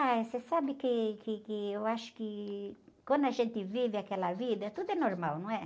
Ah, você sabe que, que, que eu acho que quando a gente vive aquela vida, tudo é normal, não é?